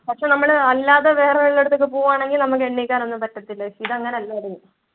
പക്ഷെ നമ്മൾ അല്ലാതെ വേറെ വെലോടുത്തും പോകുകുയാണെങ്കിൽ നമ്മൾക്ക് എണീക്കാനൊന്നും പറ്റത്തില്ല. ഇത് അങ്ങനെ അല്ലായിരുന്നു.